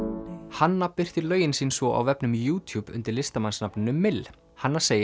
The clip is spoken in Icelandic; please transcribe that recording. hanna birtir lögin sín svo á vefnum undir listamannsnafninu mill hanna segir